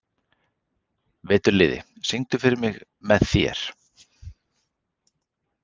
Veturliði, syngdu fyrir mig „Með þér“.